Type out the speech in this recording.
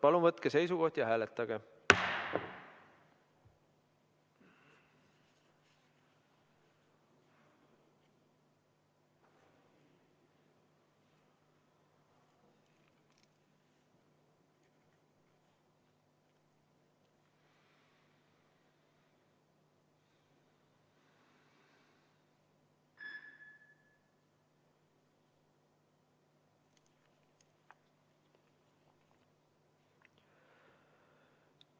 Palun võtke seisukoht ja hääletage!